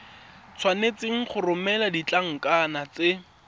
tshwanetse go romela ditlankana tse